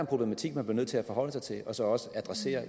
problematik man bliver nødt til at forholde sig til og så også adressere